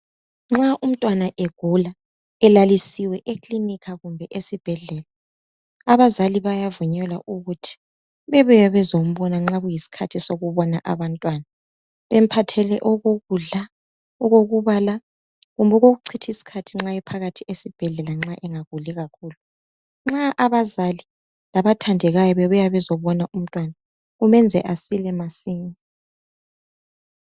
Nxa umntwana egula, elalisiwe ekilinika kumbe esibhedlela, abazali bayavunyelwa ukuthi bebuye bezombona nxa kuyisikhathi sokubona abantwana bemphathele okokudla, okokubala kumbe okokuchitha isikhathi nxa ephakathi esibhedlela nxa engaguli kakhulu. Nxa abazali labathandekayo bebuya bezobona umntwana kumenza asile masinya